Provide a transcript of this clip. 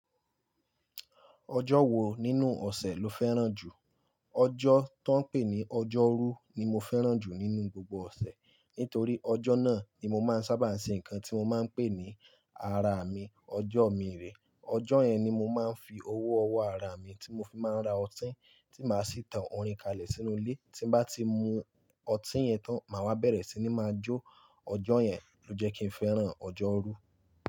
Ọjọ́ wo nínú ọ̀sẹ̀ lo fẹ́ràn jù? Ọjọ́ tó ń pè ní ọjọ́rú ni mo fẹ́ràn jù nínú gbogbo ọ̀sẹ̀, nítorí ọjọ́ náà ni mo máa ń sábà ṣe nǹkan tí mo máa ń pè ní ara mi, ọjọ́ mi rè. Ọjọ́ yẹn ni mo máa ń fi owó ọwọ́ ara mi tí mo fi máa ń ra ọtí, tí màá sì tan orin kalẹ̀ sínú ilé. Tí n bá ti mu ọtí yẹn tán, màá wá bẹ̀rẹ̀ sí ní máa jó. Ọjọ́ yẹn ló jẹ́ kí n fẹ́ràn ọjọ́rú.